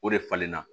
O de falen na